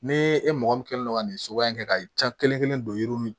Ni e mɔgɔ min kɛlen don ka nin soba in kɛ ka ca kelen kelen don yiri nunnu